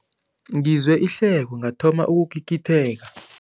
Ngizwe ihleko ngathoma ukugigitheka.